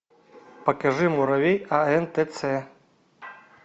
покажи муравей антц